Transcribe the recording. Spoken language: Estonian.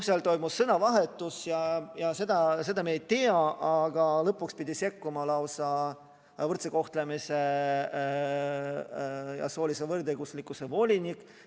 Seal toimus sõnavahetus, nii et lõpuks pidi sekkuma lausa võrdse kohtlemise ja soolise võrdõiguslikkuse volinik.